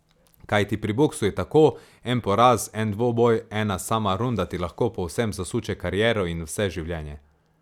Kajti pri boksu je tako, en poraz, en dvoboj, ena sama runda ti lahko povsem zasuče kariero in vse življenje.